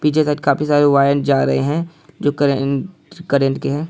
पीछे साइड काफी सारे वायर जा रहे है जो करे-करेंट के है।